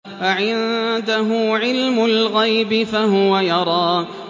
أَعِندَهُ عِلْمُ الْغَيْبِ فَهُوَ يَرَىٰ